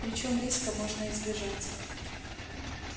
причём риска можно избежать